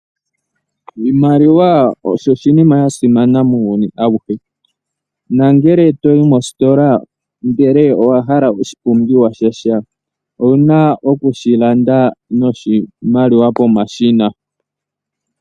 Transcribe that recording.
Oshimaliwa osho oshinima sha simana muuyuni awuhe. Nangele to yi mositola ndele owa hala oshipumbiwa shontumba owu na okushi landa noshimaliwa pomashina.